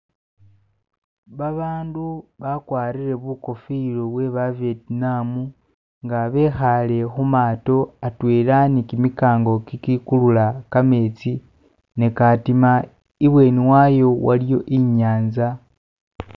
Babaandu bakwarire bukofira bwe ba Vetinam nga bekhaale khu maato atwela ni kimikaango ikikulula kameetsi ne katima, ibweeni wayo waliyo inyaanza.